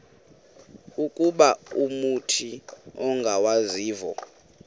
ukuba umut ongawazivo